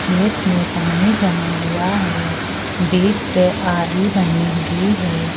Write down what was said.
खेत में पानी जमा हुआ है बीच से आरी बनी हुई है।